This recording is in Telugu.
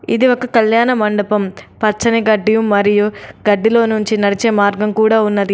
ఇది ఒక కల్యాణ మండపం. పచ్చని గడ్డి మరియు గడ్డిలో నుంచి నడిచే మార్గం కూడా ఉన్నది.